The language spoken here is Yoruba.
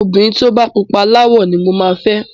Ọmọbìnrin tó bá pupa láwọ̀ ni mo máa fẹ́.